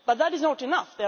But that is not enough